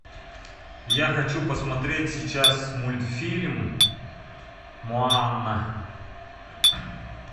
я хочу посмотреть сейчас мультфильм моана